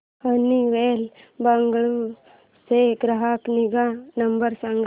Honeywell Bengaluru चा ग्राहक निगा नंबर सांगा